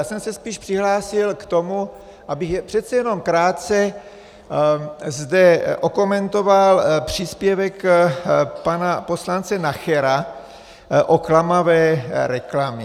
Já jsem se spíš přihlásil k tomu, abych přece jenom krátce zde okomentoval příspěvek pana poslance Nachera o klamavé reklamě.